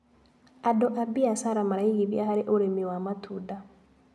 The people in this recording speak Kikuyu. Andũ a mbiacara maraigithia harĩ ũrĩmi wa matunda.